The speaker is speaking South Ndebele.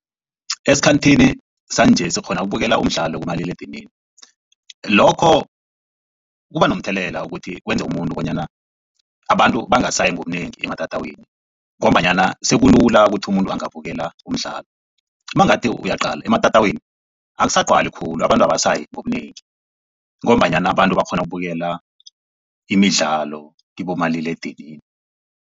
Esikhanthini sanje sikghona ukubukela umdlalo kumaliledinini lokho kuba nomthelela wokuthi kwenze umuntu bonyana abantu bangasayi ngobunengi ematatawini ngombanyana sekulula kuthi umuntu angabukela umdlalo. Mangathi uyaqala ematatawini akusagcwali khulu abantu abasayi ngobunengi ngombanyana abantu bakghona ukubukela imidlalo kibomaliledinini.